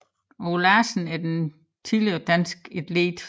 Aage Larsen er en tidligere dansk atlet